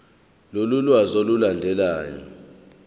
lolu lwazi olulandelayo